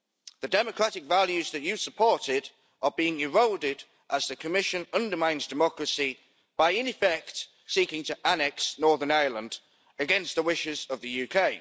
The democratic values that you supported are being eroded as the Commission undermines democracy by, in effect, seeking to annex Northern Ireland against the wishes of the UK.